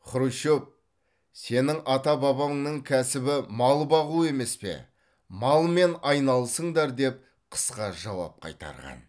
хрущев сенің ата бабаңның кәсібі мал бағу емес пе малмен айналысыңдар деп қысқа жауап қайтарған